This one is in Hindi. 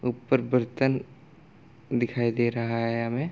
ऊपर बर्तन दिखाई दे रहा है हमें |